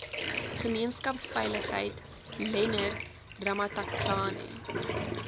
gemeenskapsveiligheid leonard ramatlakane